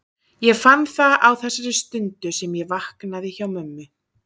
Ég fann það á þessari stundu sem ég vaknaði hjá mömmu.